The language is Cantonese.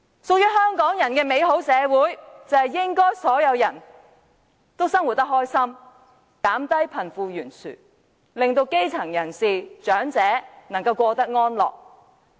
屬於香港人的美好社會，就是應該所有人都生活得開心，縮窄貧富懸殊的差距，令基層人士和長者能夠過得安樂。